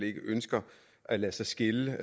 ikke ønsker at lade sig skille